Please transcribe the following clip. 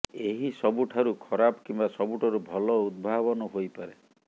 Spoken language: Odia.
ଏହି ସବୁଠାରୁ ଖରାପ କିମ୍ବା ସବୁଠାରୁ ଭଲ ଉଦ୍ଭାବନ ହୋଇପାରେ